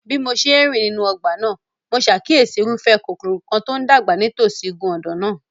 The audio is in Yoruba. Bí mo ṣe ń rìn nínú ọgbà náà, mo ṣàkíyèsí irúfẹ́ koríko kan tó ń dàgbà nítòsí igun ọ̀dàn náà.